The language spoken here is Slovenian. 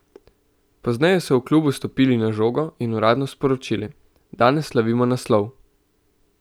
Pozneje so v klubu "stopili na žogo" in uradno sporočili: "Danes slavimo naslov.